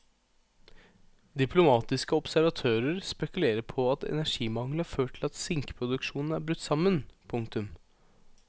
Diplomatiske observatører spekulerer på at energimangel har ført til at sinkproduksjonen er brutt sammen. punktum